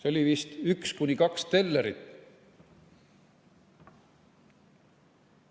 Oli vist üks või kaks tellerit.